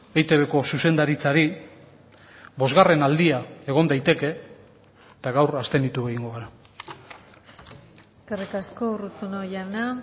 eitbko zuzendaritzari bosgarren aldia egon daiteke eta gaur abstenitu egingo gara eskerrik asko urruzuno jauna